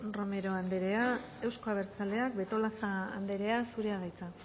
romero anderea euzko abertzaleak betolaza anderea zurea da hitza